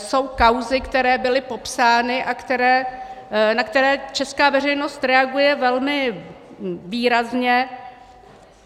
Jsou kauzy, které byly popsány a na které česká veřejnost reaguje velmi výrazně.